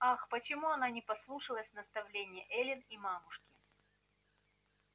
ах почему она не послушалась наставлении эллин и мамушки